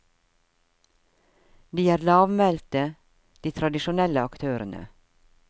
De er lavmælte, de tradisjonelle aktørene.